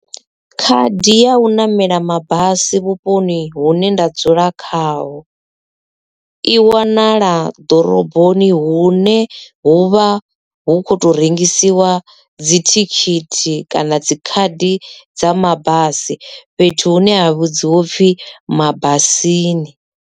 Khadi ya u ṋamela mabasi vhuponi hune nda dzula khaho, i wanala ḓoroboni hune huvha hu kho to rengisiwa dzi thikhithi kana dzi khadi dza mabasi fhethu hune ha vhudziwa upfhi mabulasini.